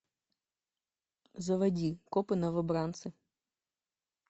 заводи копы новобранцы